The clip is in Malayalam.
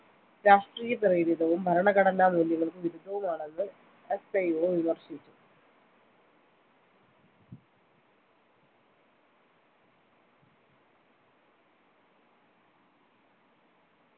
രാഷ്ട്രീയ പ്രേരിതവും ഭരണഘടനാ മൂല്യങ്ങൾക്ക് വിരുദ്ധവുമാണെന്ന് SIO വിമർശിച്ചു